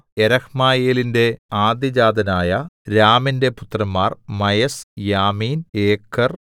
യെരഹ്മയേലിന്റെ ആദ്യജാതനായ രാമിന്റെ പുത്രന്മാർ മയസ് യാമീൻ ഏക്കെർ